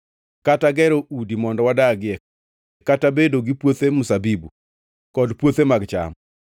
kata gero udi mondo wadagie kata bedo gi puothe mzabibu, kod puothe mag cham.